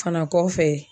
Fana kɔfɛ